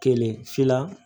Kelen filanan